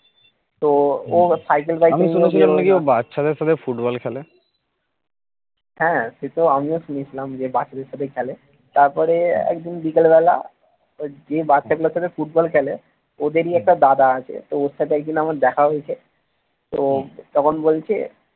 হ্যাঁ সেতো আমিও শুনেছিলাম যে বাচ্চাদের সাথে খেলে তারপরে একদিন বিকেল বেলা যে বাচ্চাগুলোর সাথে foot ball খেলে ওদেরই একটা দাদা আছে ওর সাথে একদিন আমার দেখা হয়েছে তো তখন বলছে